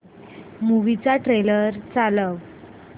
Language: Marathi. मूवी चा ट्रेलर चालव